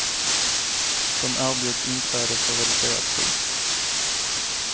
De erbjuds inträde för reducerat pris.